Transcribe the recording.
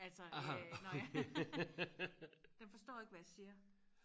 altså øh når jeg den forstår ikke hvad jeg siger